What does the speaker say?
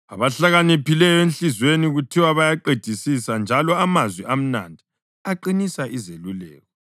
Abahlakaniphileyo enhliziyweni kuthiwa bayaqedisisa, njalo amazwi amnandi aqinisa izeluleko.